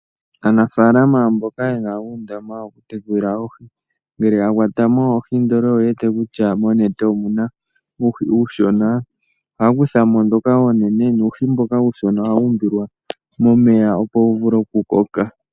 Aanafaalama mboka yena uundama woku tekulila oohi, shampa yakwatamo ndele oyewete kutay monete omuna uuhi uushona ohaa kuthamo dhoka oonene, nuuhi mboka uushona ohawu umbilwa mo momeya opo wuvule okukoka.